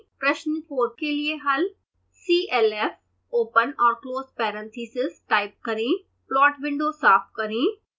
प्रश्न 4 के लिए हल